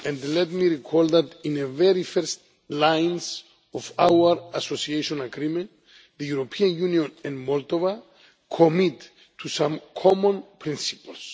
Let me recall that in the very first lines of our Association Agreement, the European Union and Moldova commit to some common principles.